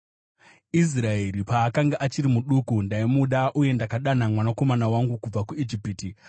“Israeri paakanga achiri muduku, ndaimuda, uye ndakadana mwanakomana wangu kubva kuIjipiti.